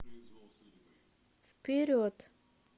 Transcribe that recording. вперед